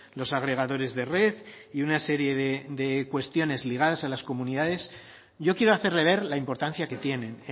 los agregadores de red y una serie de cuestiones ligadas a las comunidades yo quiero hacerle ver la importancia que tienen